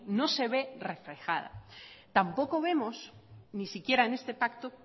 no se ve reflejada tampoco vemos ni siquiera en este pacto